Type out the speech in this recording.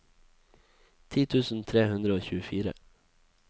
ti tusen tre hundre og tjuefire